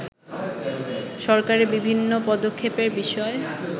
সরকারের বিভিন্ন পদক্ষেপের বিষয়